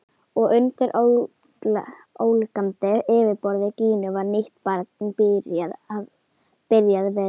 Og undir ólgandi yfirborði Gínu var nýtt barn byrjað vegferð.